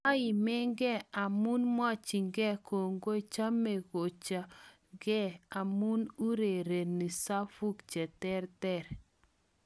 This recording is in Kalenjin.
Moimige amun mwochinge kongoi, chome koche ge amun urereni safuk cheterter.